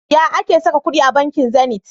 Ya ake saka kudi a banki Zenith?